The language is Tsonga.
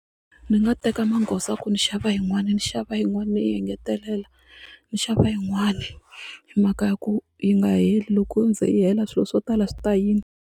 Ni nga teka magoza ku ni xava yin'wani ni xava yin'wani ni yi engetelela ni xava yin'wani hi mhaka ya ku yi nga heli loko yo ze yi hela swilo swo tala swi ta yima.